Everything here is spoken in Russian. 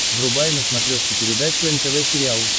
врубай на смотрешке передачу нтв сериал